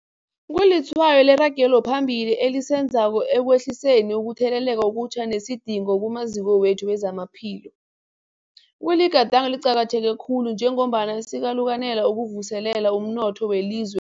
Kulitshwayo leragelo phambili esilenzako ekwehliseni ukutheleleka okutjha nesidingo kumaziko wethu wezamaphilo. Kuligadango eliqakatheke khulu njengombana sikalukanela ukuvuselela umnotho welizwe